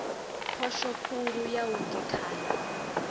phosho khulu ya u gekhana